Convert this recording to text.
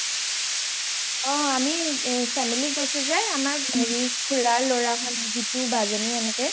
অ আমি family গৈছো যে খুৰাৰ লৰা হত জিটো, বা যনি এনেকে